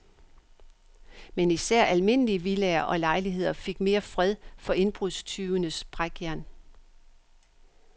Men især almindelige villaer og lejligheder fik mere fred for indbrudstyvenes brækjern.